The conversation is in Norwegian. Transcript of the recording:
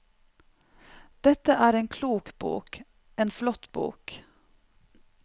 Dette er en klok bok, en flott bok.